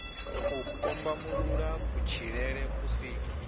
u kombamulula kutshilele ku si